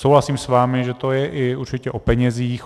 Souhlasím s vámi, že to je určitě i o penězích.